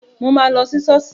Mo ma lọ sí ṣọ́ọ̀ṣì